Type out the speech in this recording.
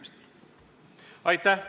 Aitäh!